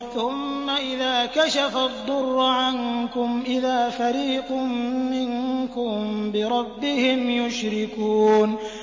ثُمَّ إِذَا كَشَفَ الضُّرَّ عَنكُمْ إِذَا فَرِيقٌ مِّنكُم بِرَبِّهِمْ يُشْرِكُونَ